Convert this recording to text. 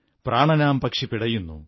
പ്രാണനാം പക്ഷി പിടയുന്നു